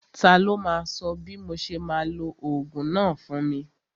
Ta ló máa sọ bí mo ṣe máa lo ogún náà fún mi?